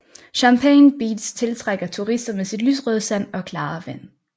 Champagne Beach tiltrækker turister med sit lyserøde sand og klare vand